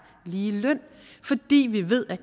lige løn fordi vi ved at